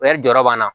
jɔyɔrɔ b'an na